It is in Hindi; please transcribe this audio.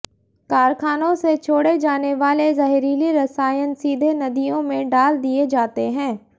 कारखानों से छोड़े जाने वाले जहरीले रसायन सीधे नदियों में डाल दिए जाते हैं